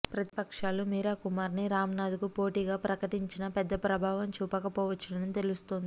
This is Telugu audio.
ప్రతిపక్షాలు మీరాకుమార్ ని రామ్ నాధ్ కు పోటీ గా ప్రకటించినా పెద్ద ప్రభావం చూపక పోవచ్చని తెలుస్తోంది